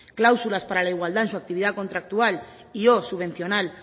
cláusulas para la igualdad en su actividad contractual y o subvencional